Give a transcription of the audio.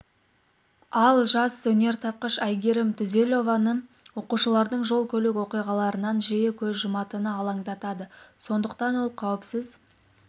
ал жас өнертапқыш айгерім түзелованы оқушылардың жол көлік оқиғаларынан жиі көз жұматыны алаңдатады сондықтанда ол қауіпсіз